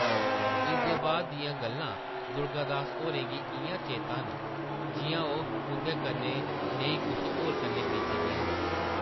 इसदे बाद दियां गल्लां दुर्गा दास होरें गी इʼयां चेता न जिʼयां ओह् उंʼदे कन्नै नेईं कुसै होर कन्नै बीती दियां होन ।